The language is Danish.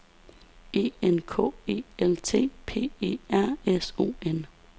E N K E L T P E R S O N